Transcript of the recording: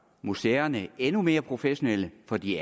museerne endnu mere professionelle for de